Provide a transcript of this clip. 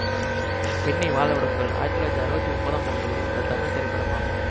பெண்ணை வாழ விடுங்கள் ஆயிரத்தி தொள்ளாயிரத்தி அறுபத்தி ஒன்பதாம் ஆண்டு வெளிவந்த தமிழ் திரைப்படமாகும்